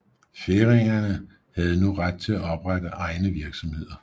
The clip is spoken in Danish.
Færingerne havde nu ret til at oprette egne virksomheder